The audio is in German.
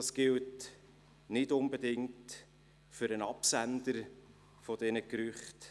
Das gilt nicht unbedingt für den Absender dieser Gerüchte.